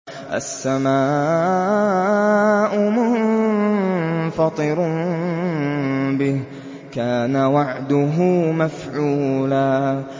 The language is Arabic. السَّمَاءُ مُنفَطِرٌ بِهِ ۚ كَانَ وَعْدُهُ مَفْعُولًا